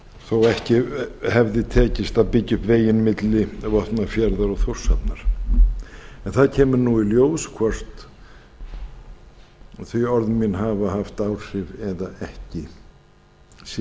þó ekki hefði tekist að byggja upp veginn milli vopnafjarðar og þórshafnar en það kemur nú í ljós hvort þau orð mín hafa haft áhrif eða ekki sem ég